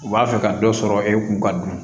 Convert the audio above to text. U b'a fɛ ka dɔ sɔrɔ e kun ka dun